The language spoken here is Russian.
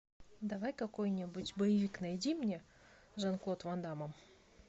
давай какой нибудь боевик найди мне с жан клод ван даммом